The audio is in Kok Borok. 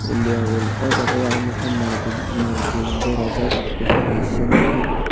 indian oil aw jaaga ang nugkha manui tui manai tai berajak kufur kaisa nugkha.